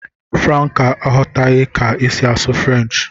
Franca aghọtaghị ka esi asụ French